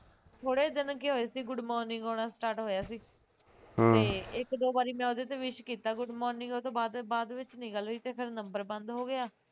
ਥੋੜੇ ਦਿਨ ਕੇ ਹੋਏ ਸੀ good morning ਆਉਣਾ ਹੋਣਾ start ਹੋਇਆ ਸੀ ਹਮਮ ਤੇ ਇੱਕ ਦੋ ਵਾਰੀ ਮੈਂ ਉਹਦੇ ਤੇ wish ਕੀਤਾ good morning ਉਸ ਤੋਂ ਬਾਅਦ ਬਾਅਦ ਵਿਚ ਨਹੀ ਗੱਲ ਹੋਈ ਤੇ ਫਿਰ number ਬੰਦ ਹੋ ਗਿਆ